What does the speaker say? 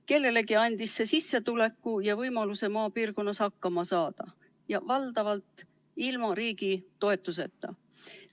Kellelegi andis see sissetuleku ja võimaluse maapiirkonnas hakkama saada, ja seda valdavalt ilma riigi toetuseta.